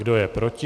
Kdo je proti?